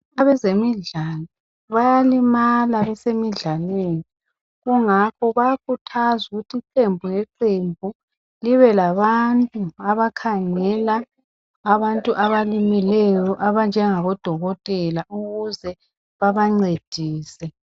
abezemidlalo bayalimala emidlalweni kungakho kuyakhuthazwa ukuthi iqembu nge qembu libe labantu abakhangela abantu abalimeleyo abanjengabo dokotela ukuze babancedise